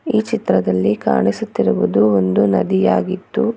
ಈ ಚಿತ್ರದಲ್ಲಿ ಕಾಣಿಸುತ್ತಿರುವುದು ಒಂದು ನದಿ ಆಗಿದ್ದು--